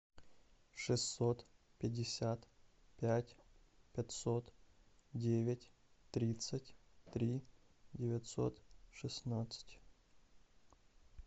шестьсот пятьдесят пять пятьсот девять тридцать три девятьсот шестнадцать